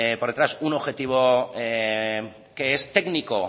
por detrás un objetivo que es técnico